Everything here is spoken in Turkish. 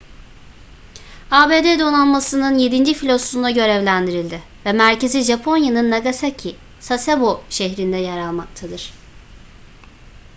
abd donanması'nın yedinci filosunda görevlendirildi ve merkezi japonya'nın nagasaki sasebo şehrinde yer almaktadır